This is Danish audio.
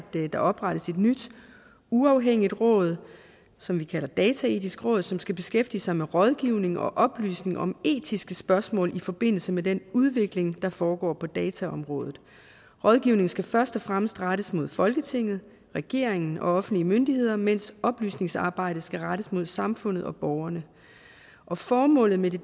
der oprettes et nyt uafhængigt råd som vi kalder dataetisk råd som skal beskæftige sig med rådgivning og oplysning om etiske spørgsmål i forbindelse med den udvikling der foregår på dataområdet rådgivningen skal først og fremmest rettes mod folketinget regeringen og offentlige myndigheder mens oplysningsarbejdet skal rettes mod samfundet og borgerne og formålet med det